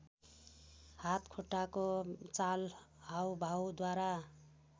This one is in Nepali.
हातखुट्टाको चाल हाउभाउद्वारा